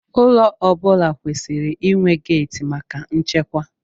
Ụlọ ọ bụla kwesịrị inwe geeti maka nchekwa.